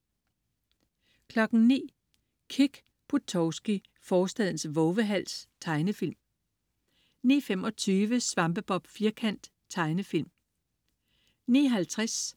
09.00 Kick Buttowski, forstadens vovehals. Tegnefilm 09.25 SvampeBob Firkant. Tegnefilm 09.50